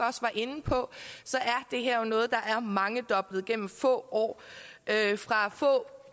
inde på så er det her jo noget der er mangedoblet igennem få år fra få